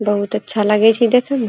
बहुत अच्छा लागे छै देखे म।